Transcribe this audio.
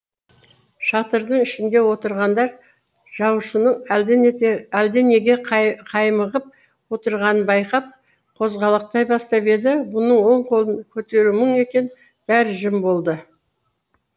шатырдың ішінде отырғандар жаушының әлденеге қаймығып отырғанын байқап қозғалақтай бастап еді бұның оң қолын көтеруі мұң екен бәрі жым болды